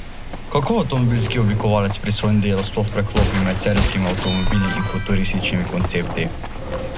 Kako avtomobilski oblikovalec pri svojem delu sploh preklopi med serijskimi avtomobili in futurističnimi koncepti?